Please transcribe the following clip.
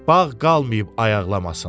Bağ qalıb ayaqlamasın.